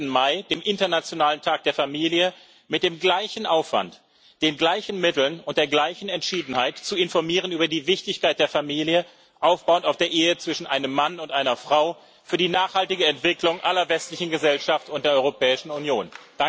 15. Mai dem Internationalen Tag der Familie mit dem gleichen Aufwand, den gleichen Mitteln und der gleichen Entschiedenheit zu informieren über die Wichtigkeit der Familie, aufbauend auf der Ehe zwischen einem Mann und einer Frau, für die nachhaltige Entwicklung aller westlichen Gesellschaften und der Europäischen Union.